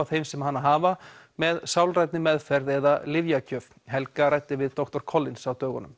þeim sem hana hafa með sálrænni meðferð eða lyfjagjöf helga ræddi við doktor Collins á dögunum